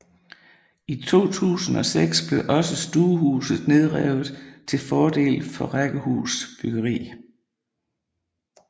I 2006 blev også stuehuset nedrevet til fordel for rækkehusbyggeri